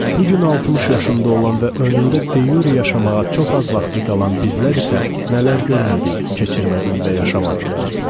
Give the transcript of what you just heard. Bu gün 60 yaşında olan və önündə de-yure yaşamağa çox az vaxtı qalan bizlər isə nələr görmədi, keçirmədi və yaşamadıq ki?